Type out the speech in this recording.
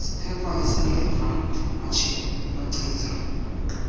sephepha esingeva machiza